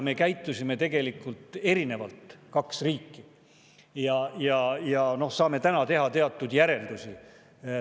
Me käitusime tegelikult erinevalt, kaks riiki, ja saame täna teha teatud järeldusi.